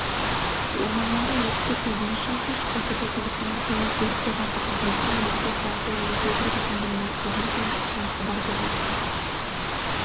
ормандағы өртті көзіңіз шалса шұғыл түрде телефоны арқылы өртке қарсы қызметке немесе қала селолық округ әкімдігіне орман шаруашылығына хабар беріңіз